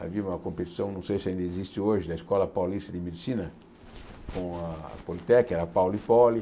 Havia uma competição, não sei se ainda existe hoje, da Escola Paulista de Medicina com a Politec, era Pauli e Poli.